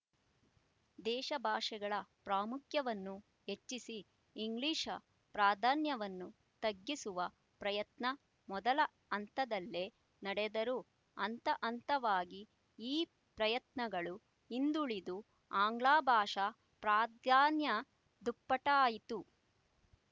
ದೇಶಭಾಷೆಗಳ ಪ್ರಾಮುಖ್ಯವನ್ನು ಹೆಚ್ಚಿಸಿ ಇಂಗ್ಲಿಶ ಪ್ರಾಧಾನ್ಯವನ್ನು ತಗ್ಗಿಸುವ ಪ್ರಯತ್ನ ಮೊದಲ ಹಂತದಲ್ಲೇ ನಡೆದರೂ ಹಂತಹಂತವಾಗಿ ಈ ಪ್ರಯತ್ನಗಳು ಹಿಂದುಳಿದು ಆಂಗ್ಲಭಾಷಾ ಪ್ರಾಧಾನ್ಯ ದುಪ್ಪಟ್ಟಾಯಿತು